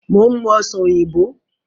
Mo ń mú Ọ̀sán oyinbo